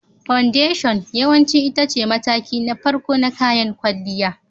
Foundation yawanci ita ce mataki na farko na kayan kwalliya.